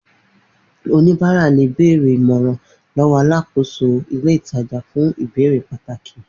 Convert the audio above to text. oníbàárà le bèèrè ìmọ̀ràn lowo alákòóso ilé ìtajà fún ìbéèrè pàtàki